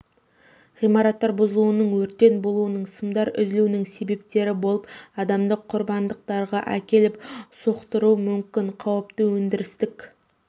ғимараттар бұзылуының өрттер болуының сымдар үзілуінің себептері болып адамдық құрбандықтарға әкеліп соқтыруға мүмкін қауіпті өндірістік